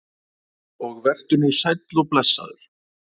Og vertu nú sæll og blessaður.